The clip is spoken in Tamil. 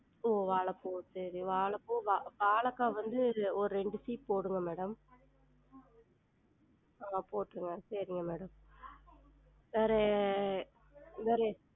உம் வாழப்பூ சேரி வாழப்பூ வா~ வாழக்கா வந்து ஒரு ரெண்டு சீப்பு போடுங்க madam ஆஹ் போற்றுங்க சரிங்க madam